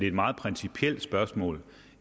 et meget principielt spørgsmål